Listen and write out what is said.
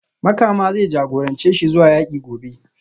Makama zai jagorance shi zuwa yaki gobe